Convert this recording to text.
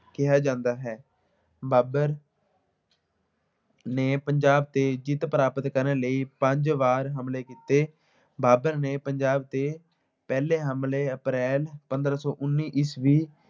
ਕਿਹਾ ਜਾਂਦਾ ਹੈ। ਬਾਬਰ ਨੇ ਪੰਜਾਬ ਤੇ ਜਿੱਤ ਪ੍ਰਾਪਤ ਕਰਨ ਲਈ ਪੰਜ ਵਾਰ ਹਮਲੇ ਕੀਤੇ। ਬਾਬਰ ਨੇ ਪੰਜਾਬ ਤੇ ਪਹਿਲੇ ਹਮਲੇ ਅਪ੍ਰੈਲ ਪੰਦਰਾਂ ਸੌ ਉਨੀ ਈਸਵੀ